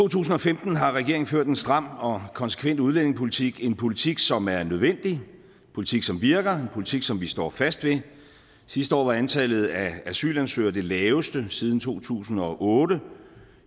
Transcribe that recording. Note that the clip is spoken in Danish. tusind og femten har regeringen ført en stram og konsekvent udlændingepolitik en politik som er nødvendig en politik som virker en politik som vi står fast ved sidste år var antallet af asylansøgere det laveste siden to tusind og otte